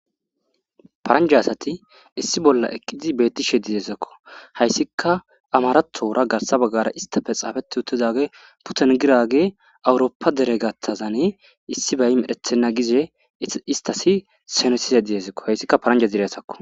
paranja asati issi bolla eqqizi beettishe dideezakko hayssika amaratoora garsa baggara istafe xaafeti uttidage putengirage awurooppa deregattazane issi bay medhethenna gize istasi senosize diezakko hayssikka paranja dire asakko.